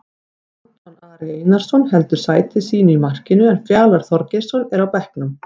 Anton Ari Einarsson heldur sæti sínu í markinu en Fjalar Þorgeirsson er á bekknum.